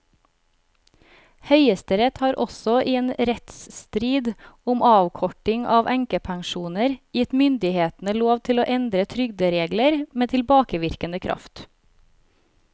Høyesterett har også i en rettsstrid om avkorting av enkepensjoner gitt myndighetene lov til å endre trygderegler med tilbakevirkende kraft.